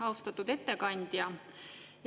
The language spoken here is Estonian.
Austatud ettekandja!